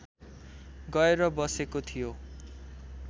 गएर बसेको थियो